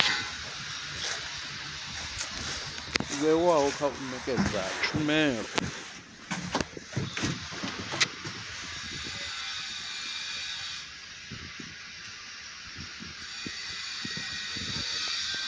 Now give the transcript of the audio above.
vhewaho kha u nekedza tshumelo